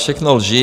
Všechno lži.